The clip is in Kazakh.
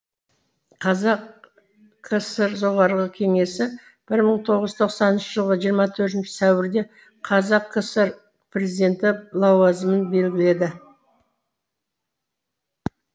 қазақ кср жоғарғы кеңесі бір мың тоғыз жүз тоқсаныншы жылғы жиырма төртінщі сәуірде қазақ кср президенті лауазымын белгіледі